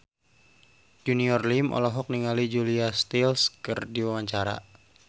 Junior Liem olohok ningali Julia Stiles keur diwawancara